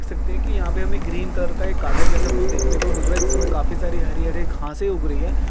देख सकते है की यहाँ पे हमें ग्रीन कलर का एक गार्डन जैसा कुछ देखने को मिल रहा है जिसमे काफी सारी हरी-हरे घाँसे उग रही है।